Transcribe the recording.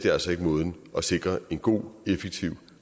er altså ikke måden at sikre en god effektiv